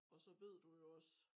Og så ved du jo også